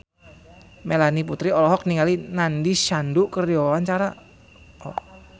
Melanie Putri olohok ningali Nandish Sandhu keur diwawancara